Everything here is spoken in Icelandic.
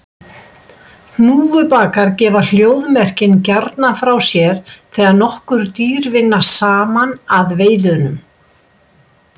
Hnúfubakar gefa hljóðmerkin gjarnan frá sér þegar nokkur dýr vinna saman að veiðunum.